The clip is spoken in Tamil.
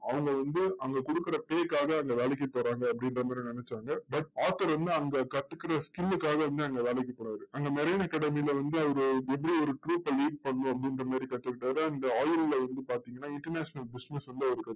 அவங்க வந்து அவங்க கொடுக்கிற pay க்காக அந்த வேலைக்கு போறாங்க அப்படிங்கற மாதிரி நினைச்சாங்க. but author வந்து அங்க கத்துக்கிற skill லுக்காக வந்து அங்க வேலைக்கு போறாரு. அந்த marine academy ல வந்து ஒரு ஒரு group lead பண்ணணும் அப்படிங்கற மாதிரி கத்துக்கிட்டாரு. and oil ல வந்து பாத்தீங்கன்னா international business வந்து அவர் கத்துக்கிட்டாரு.